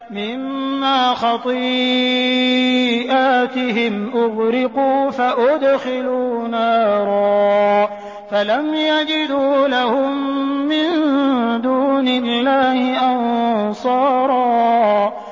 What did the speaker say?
مِّمَّا خَطِيئَاتِهِمْ أُغْرِقُوا فَأُدْخِلُوا نَارًا فَلَمْ يَجِدُوا لَهُم مِّن دُونِ اللَّهِ أَنصَارًا